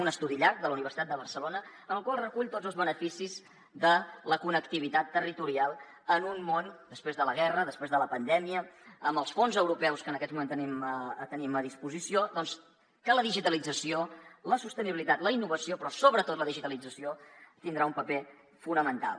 un estudi llarg de la universitat de barcelona que recull tots els beneficis de la connectivitat territorial en un món després de la guerra després de la pandèmia amb els fons europeus que en aquests moments tenim a disposició doncs que la digitalització la sostenibilitat la innovació però sobretot la digitalització hi tindran un paper fonamental